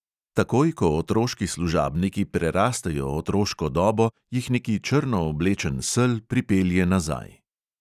Takoj ko otroški služabniki prerastejo otroško dobo, jih neki črno oblečen sel pripelje nazaj.